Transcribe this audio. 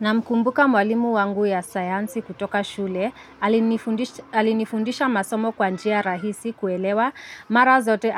Namkumbuka mwalimu wangu wa sayansi kutoka shule, alinifundisha masomo kwa njia rahisi kuelewa, mara zote